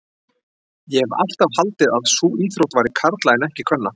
Ég hef alltaf haldið að sú íþrótt væri karla en ekki kvenna.